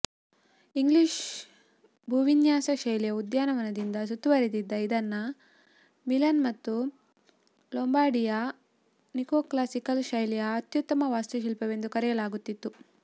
English ಭೂವಿನ್ಯಾಸ ಶೈಲಿಯ ಉದ್ಯಾನವನದಿಂದ ಸುತ್ತುವರೆದಿದ್ದ ಇದನ್ನ ಮಿಲನ್ ಮತ್ತು ಲೊಂಬಾರ್ಡಿಯ ನಿಯೋಕ್ಲಾಸಿಕಲ್ ಶೈಲಿಯ ಅತ್ಯುತ್ತಮ ವಾಸ್ತುಶಿಲ್ಪವೆಂದು ಕರೆಯಲಾಗುತ್ತಿತ್ತು